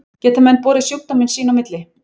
Geta menn borið sjúkdóminn sín á milli?